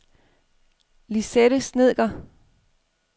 Lisette Snedker